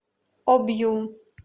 обью